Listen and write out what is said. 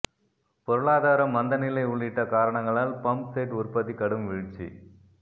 பொருளாதார மந்தநிலை உள்ளிட்ட காரணங்களால் பம்ப் செட் உற்பத்தி கடும் வீழ்ச்சி